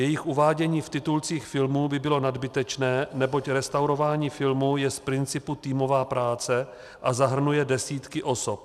Jejich uvádění v titulcích filmů by bylo nadbytečné, neboť restaurování filmů je z principu týmová práce a zahrnuje desítky osob.